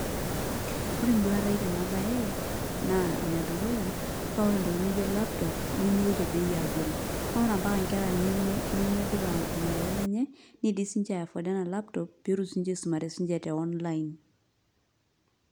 Ore enduata aai tena baye naa enedukuya paa ore ntokitin nijio laptop nemiri te bei e abori pee a ore mpaka nkera nemedupa ormareita lenye niidimi siinche aiaforda ena laptop pee etum siinche aisumare siinche te online.